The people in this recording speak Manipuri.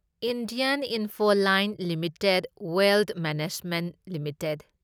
Indian Infoline Limited Wealth Management limited